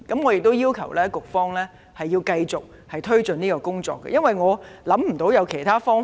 我要求局方繼續推進有關工作，因為我也想不到其他方法。